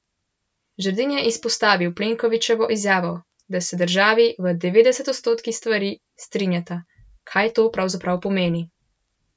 Žerdin je izpostavil Plenkovićevo izjavo, da se državi "v devetdeset odstotkih stvari" strinjata: "Kaj to pravzaprav pomeni?